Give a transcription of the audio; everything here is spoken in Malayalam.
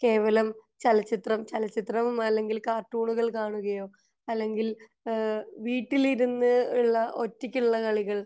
കേവലം ചലച്ചിത്രം ചലച്ചിത്രമോ അല്ലെങ്കിൽ കാർട്ടൂണുകൾ കാണുകയോ അല്ലെങ്കിൽ വീട്ടിൽ ഇരുന്ന് ഉള്ള ഒറ്റക് ഉള്ള കളികൾ